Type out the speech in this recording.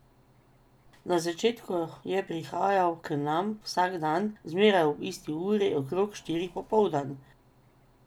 Na začetku je prihajal k nam vsak dan, zmeraj ob isti uri, okrog štirih popoldan.